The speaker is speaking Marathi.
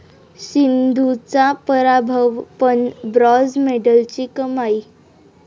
सिंधूचा पराभव पण ब्राँझ मेडलची कमाई